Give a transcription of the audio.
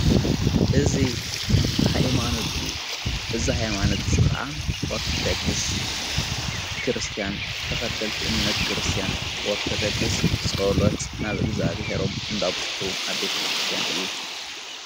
እዙ ኃይማኖት እዩ ብዛ ኃይማኖት ዝዝኸዓ ኦርተደክሥ ክርስቲያን ተኸተልቲ እምነት ክርስቲያን ወርተደግሥ ጸሎት ናብ እግዚኣብሔሮም እንዳብጽሑ ኣብ ቤተ ክርስቲያን እዩ።